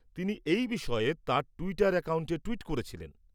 তিনি এই বিষয়ে তাঁর টুইটার অ্যাকাউন্টে টুইট করেছিলেন।